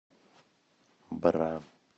бра